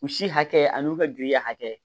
U si hakɛ an'u ka giriya hakɛ